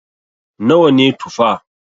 Nawa ne Tufa?